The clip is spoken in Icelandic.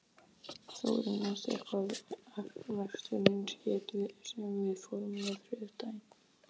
Þórinn, manstu hvað verslunin hét sem við fórum í á þriðjudaginn?